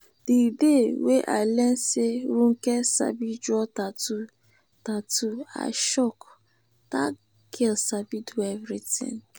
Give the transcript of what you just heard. the day wey i learn say ronke sabi draw tattoo tattoo i shock dat girl sabi do everything